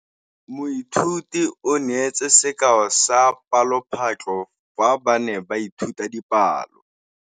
Moithuti o neetse sekaô sa palophatlo fa ba ne ba ithuta dipalo.